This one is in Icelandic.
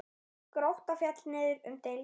Grótta féll niður um deild.